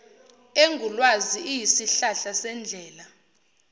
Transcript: engulwazi iyisihlahla sendlela